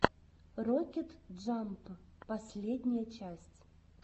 рокет джамп последняя часть